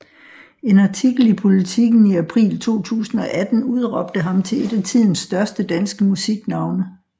En artikel i Politiken i april 2018 udråbte ham til et af tidens største danske musiknavne